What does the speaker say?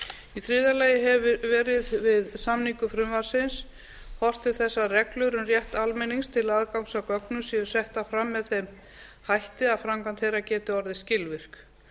í þriðja lagi hefur verið við samningu frumvarpsins horft til þess að reglur um rétt almennings til aðgangs að gögnum séu settar fram með þeim hætti að framkvæmd þeirra geti orðið skilvirk